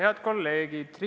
Head kolleegid!